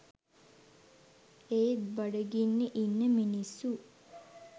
ඒත් බඩගින්නෙ ඉන්න මිනිස්සු